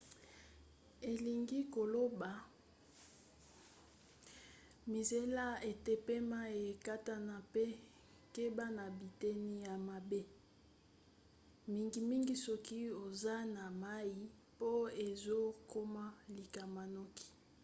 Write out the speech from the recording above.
elingi koloba mizela ete pema ekatana mpe keba na biteni ya mabe mingimingi soki oza na mai po ezokoma likama noki